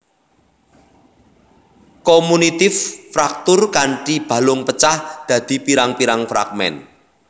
Komunitif fraktur kanthi balung pecah dadi pirang pirang fragmen